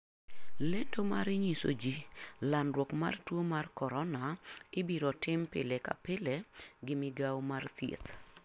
Lendo mar nyiso ji landruok mar tuo mar corona ibiro tim pile ka pile gi Migawo mar Thieth.